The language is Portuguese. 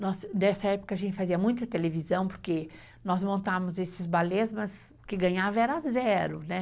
Nossa, nessa época a gente fazia muita televisão, porque nós montávamos esses balés, mas o que ganhava era zero, né?